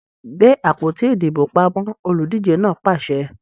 Gbe àpótí ìdìbò pamọ! Olùdíje náà pàṣẹ!